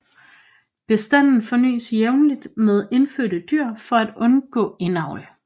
Bestanden fornyes jævnligt med indførte dyr for at undgå indavl